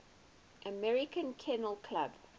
american kennel club